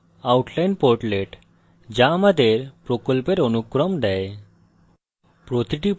এবং outline portlet যা আমাদের প্রকল্পের অনুক্রম দেয়